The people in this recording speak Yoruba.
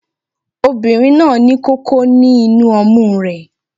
Obìnrin náà ní kókó ní inú ọmú rẹ